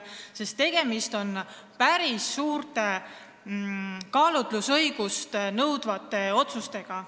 Tegemist on päris suurt kaalutlusõigust eeldavate otsustega.